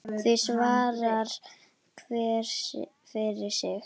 Því svarar hver fyrir sig.